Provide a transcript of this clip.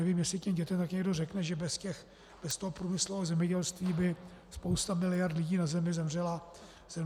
Nevím, jestli těm dětem také někdo řekne, že bez toho průmyslového zemědělství by spousta miliard lidí na Zemi zemřela hlady.